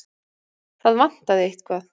Það vantaði eitthvað.